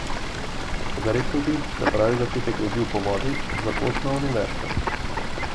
Toda rekel bi, da pravi začetek leži v povodih za pot na Univerzo.